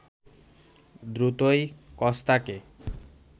দ্রুতই কস্তাকে